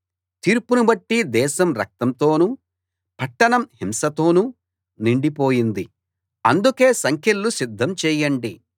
తీర్పుని బట్టి దేశం రక్తంతోనూ పట్టణం హింసతోనూ నిండిపోయింది అందుకే సంకెళ్ళు సిద్ధం చేయండి